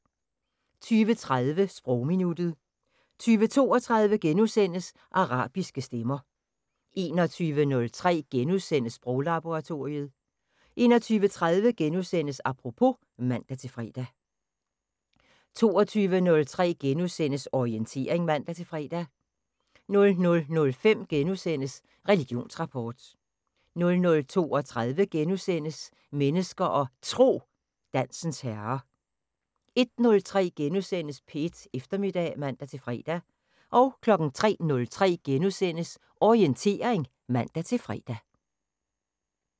20:30: Sprogminuttet 20:32: Arabiske stemmer * 21:03: Sproglaboratoriet * 21:30: Apropos *(man-fre) 22:03: Orientering *(man-fre) 00:05: Religionsrapport * 00:32: Mennesker og Tro: Dansens herre * 01:03: P1 Eftermiddag *(man-fre) 03:03: Orientering *(man-fre)